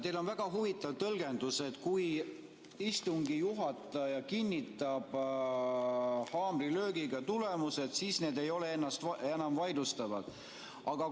Teil on väga huvitav tõlgendus, et kui istungi juhataja kinnitab haamrilöögiga tulemused, siis need ei ole enam vaidlustatavad.